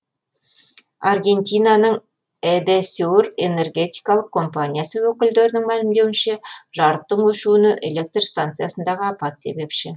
аргентинаның эдесюр энергетикалық компаниясы өкілдерінің мәлімдеуінше жарықтың өшуіне электр станциясындағы апат себепші